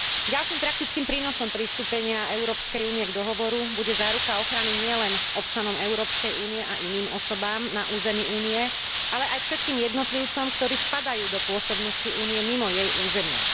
Ďalším praktickým prínosom pristúpenia Európskej únie k dohovoru bude záruka ochrany nielen občanom Európskej únie a iným osobám na území Únie, ale aj všetkým jednotlivcom, ktorí spadajú do pôsobnosti Únie mimo jej územia.